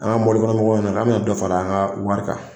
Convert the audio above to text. An ka mɔbilikɔnɔmɔgɔ ɲɛna k'an bɛna dɔ fara an ka wari kan